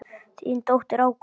Þín dóttir, Ágústa.